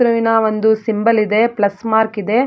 ಕ್ರಿಸ್ತುವಿನ ಒಂದು ಸಿಂಬಲ್ ಇದೆ plus mark ಇದೆ.